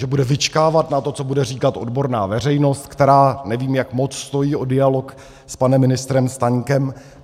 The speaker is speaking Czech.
Že bude vyčkávat na to, co bude říkat odborná veřejnost, která, nevím, jak moc stojí o dialog s panem ministrem Staňkem.